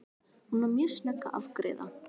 Hún var mjög snögg að afgreiða.